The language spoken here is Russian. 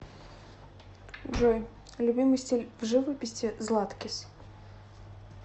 джой любимый стиль в живописи златкис